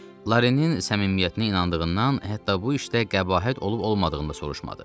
Larinin səmimiyyətinə inandığından, hətta bu işdə qəbahət olub-olmadığını da soruşmadı.